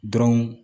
Dɔrɔn